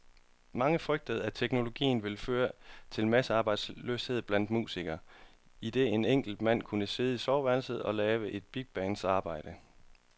Mange frygtede, at teknologien ville føre til massearbejdsløshed blandt musikere, idet en enkelt mand kunne sidde i soveværelset og lave et bigbands arbejde.